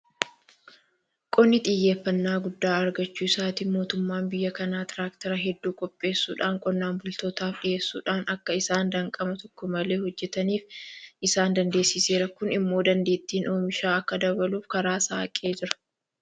Qonni xiyyeeffannaa guddaa argachuu isaatiin mootummaan biyya kanaa Tiraaktera hedduu qopheessuudhaan qonnaan bultootaaf dhiyeessuudhaan akka isaan danqama tokko malee hojjetaniif isaan dandeessiseera. Kun immoo dandeettiin oomishaa akka dabaluuf karaa saaqee jira.